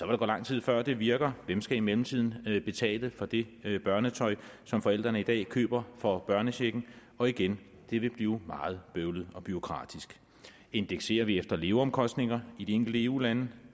der gå lang tid før det virker hvem skal i mellemtiden betale for det børnetøj som forældrene i dag køber for børnechecken og igen vil det blive meget bøvlet og bureaukratisk indekserer vi efter leveomkostninger i de enkelte eu lande